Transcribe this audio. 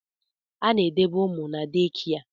A na-edebe ụmụ na dekịa